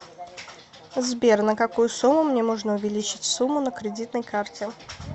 сбер на какую сумму мне можно увеличить сумму на кредитной карте